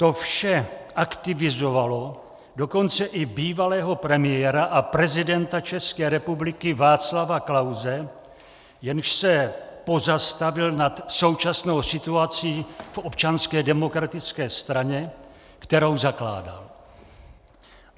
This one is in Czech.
To vše aktivizovalo dokonce i bývalého premiéra a prezidenta České republiky Václava Klause, jenž se pozastavil nad současnou situací v Občanské demokratické straně, kterou zakládal.